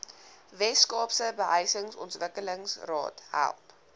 weskaapse behuisingsontwikkelingsraad help